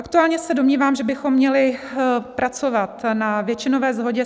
Aktuálně se domnívám, že bychom měli pracovat na většinové shodě